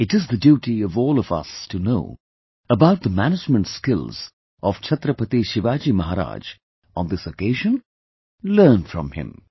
It is the duty of all of us to know about the management skills of Chhatrapati Shivaji Maharaj on this occasion, learn from him